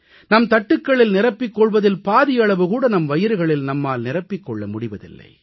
நம் தட்டுக்களில் நிரப்பிக் கொள்வதில் பாதியளவு கூட நம் வயிறுகளில் நம்மால் நிரப்பிக் கொள்ள முடிவதில்லை